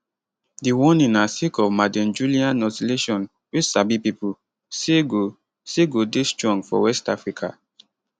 di warning na sake of maddenjullian oscillation wey sabi pipo say go say go dey strong for west africa